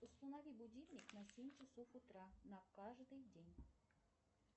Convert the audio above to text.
установи будильник на семь часов утра на каждый день